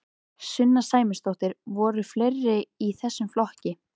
Sunna Sæmundsdóttir: Voru fleiri í þessum flokki?